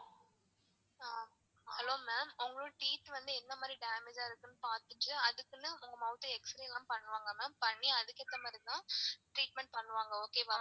அஹ் hello ma'am உங்களோட teeth வந்து எந்த மாதிரி damage ஆ இருக்கு னு பாத்துட்டு அதுக்குனு உங்க mouth ஆ xrey லாம் பண்ணுவாங்க ma'am பண்ணி அதுக்கு ஏத்த மாதிரி தான் treatment பண்ணுவாங்க okay வா.